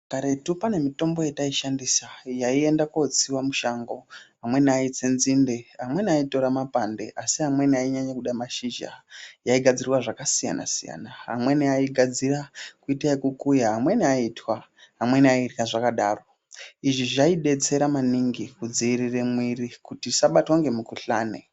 Karetu pane mitombo yataishandisa yaienda kotsiws mushango amweni aitora nzinde amweni aitora mapande amweni sinyanyoda mashizha yyaigadxirwa zvakasiyana siyana amweni aigadzira kiitaokukuya amweni aitwa amweni aidya zvakadato izvi zvaidetsera maningi kudziirira mwiri kuti isabatwa ngemukhuhlani.